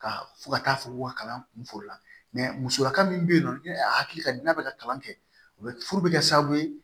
Ka fɔ ka taa fɔ ko ka kalan kun fɔ o la musoya min bɛ yen ni a hakili ka di n'a bɛ ka kalan kɛ o bɛ furu bɛ kɛ sababu ye